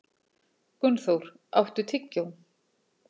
Gunnþór, áttu tyggjó?